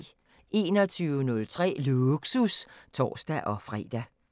21:03: Lågsus (tor-fre)